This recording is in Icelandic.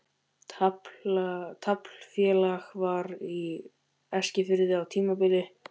Taflfélag var á Eskifirði á tímabili.